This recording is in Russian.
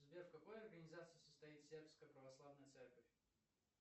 сбер в какой организации состоит сербская православная церковь